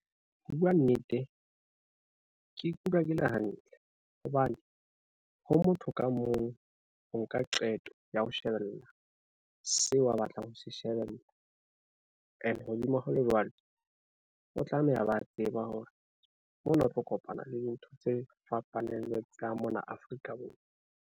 Ho bua nnete, ke ikutlwa ke le hantle hobane, ho motho ka mong ho nka qeto ya ho shebella seo a batlang ho se shebella. Ene hodima ho le jwalo, o tlameha a ba tseba hore mona o tlo kopana le dintho tse fapaneng le tsa mona Afrika Borwa.